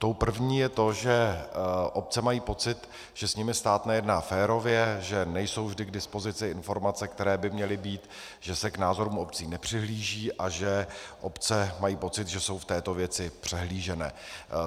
Tou první je to, že obce mají pocit, že s nimi stát nejedná férově, že nejsou vždy k dispozici informace, které by měly být, že se k názoru obcí nepřihlíží a že obce mají pocit, že jsou v této věci přehlíženy.